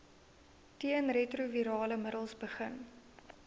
teenretrovirale middels begin